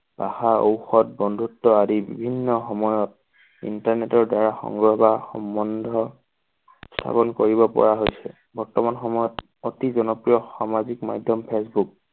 পাহাৰ ঔষধ বন্ধুত্ব আদি বিভিন্ন সময়ত internet ৰ দ্বাৰা বা সম্বন্ধ স্থাপন কৰিব পৰা হৈছে। বৰ্তমান সময়ত অতি জনপ্ৰিয় সামাজিক মাধ্যম ফেচবুক